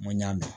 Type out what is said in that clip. N ko n y'a mɛn